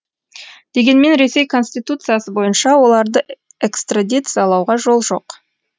дегенмен ресей конституциясы бойынша оларды экстрадициялауға жол жоқ